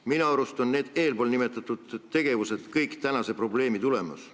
Minu arust on tänane probleem eelnimetatud tegevuste tulemus.